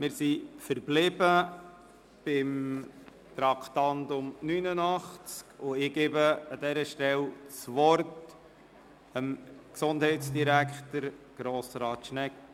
Wir sind beim Traktandum 89 verblieben, und ich gebe an dieser Stelle Gesundheitsdirektor Schnegg das Wort.